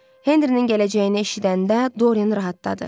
Henrinin gələcəyini eşidəndə Dorian rahatladı.